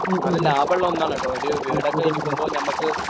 നല്ല ലാഭമുള്ള ഒന്നാണ് കേട്ടോ ഒരു വീടൊക്കെ വയ്ക്കുമ്പോൾ ഞമ്മക്ക്